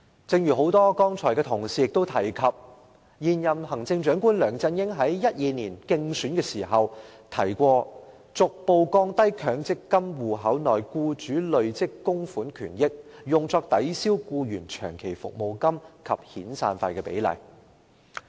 正如多位同事剛才提到，現任行政長官梁振英在2012年競選時曾提出："逐步降低強積金戶口內僱主累積供款權益用作抵銷僱員長期服務金及遣散費的比例"。